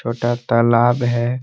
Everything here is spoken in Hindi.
छोटा तालाब है ।